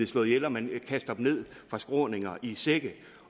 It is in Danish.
slået ihjel og man kaster dem ned fra skråninger i sække